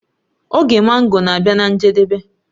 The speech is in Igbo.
Oge mango na-abịa na njedebe